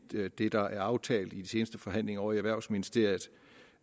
det det der er aftalt i de seneste forhandlinger ovre i erhvervsministeriet